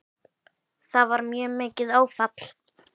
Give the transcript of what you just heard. Það var mjög mikið áfall.